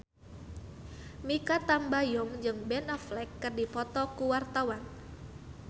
Mikha Tambayong jeung Ben Affleck keur dipoto ku wartawan